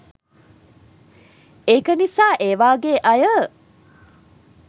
ඒක නිසා ඒ වාගේ අය